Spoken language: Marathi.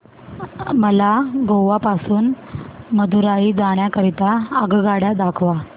मला गोवा पासून मदुरई जाण्या करीता आगगाड्या दाखवा